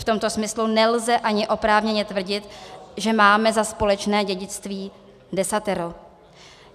V tomto smyslu nelze ani oprávněně tvrdit, že máme za společné dědictví desatero."